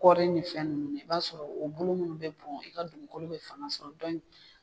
Koori ni fɛn ninnu filɛ i b'a sɔrɔ u bulu bɛ bɔn i ka dugukolo bɛ fanga sɔrɔ